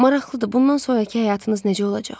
Maraqlıdır, bundan sonrakı həyatınız necə olacaq?